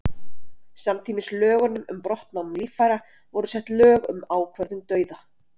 samtímis lögunum um brottnám líffæra voru sett lög um ákvörðun dauða